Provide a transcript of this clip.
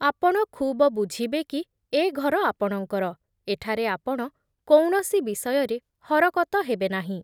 ଆପଣ ଖୁବ ବୁଝିବେ କି ଏ ଘର ଆପଣଙ୍କର, ଏଠାରେ ଆପଣ କୌଣସି ବିଷୟରେ ହରକତ ହେବେନାହିଁ ।